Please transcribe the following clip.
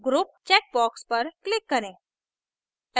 group checkbox पर click करें